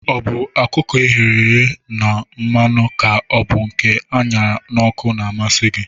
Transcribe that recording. Ọ bụ ọkụkọ eghere na mmanụ ka ọ bụ nke aṅarara n'ọkụ na-amasi gi?